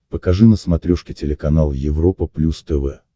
покажи на смотрешке телеканал европа плюс тв